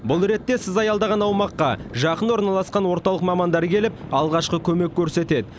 бұл ретте сіз аялдаған аумаққа жақын орналасқан орталық мамандары келіп алғашқы көмек көрсетеді